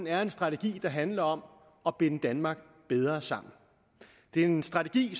er en strategi der handler om at binde danmark bedre sammen det er en strategi